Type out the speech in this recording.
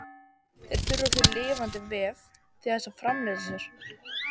Þær þurfa því lifandi vef til þess að framfleyta sér.